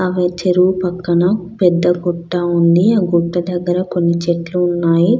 ఆ చెరువు పక్కన పెద్ద గుట్ట ఉన్నది ఆ గుట్ట దగర కొన్ని చెట్లు ఉన్నాయి.